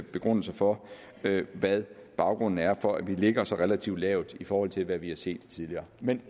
begrundelser for hvad baggrunden er for at vi ligger så relativt lavt i forhold til hvad vi har set tidligere men